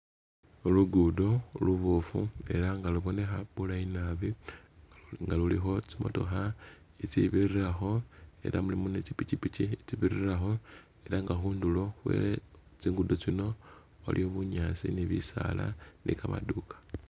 Khulugudo luboofu ela nga lubonekha bulayi naabi nga lulikho tsi motokha itsi birirakho ela mulimo ne tsi pikipiki itsi birirakho ela nga khundulo khwe tsi ngudo tsino waliwo bunyaasi ne bisaala ne kamaduka